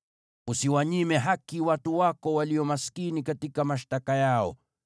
“Usiwanyime haki watu wako walio maskini katika mashtaka yao.